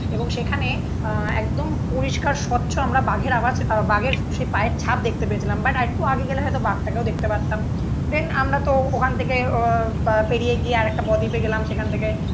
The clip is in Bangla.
এবং সেখানে আহ একদম পরিষ্কার স্বচ্ছ আমরা বাঘের আওয়াজ বাঘের সেই যে পায়ের ছাপ দেখতে পেয়েছিলাম বাট আর একটু আগে গেলে হয়তো বাঘটাকেও দেখতে পারতাম দেন আমরা তো ওখান থেকে আহ পেরিয়ে গিয়ে আর একটা বদ্বীপে গেলাম সেখান থেকে.